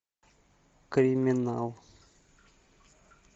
криминал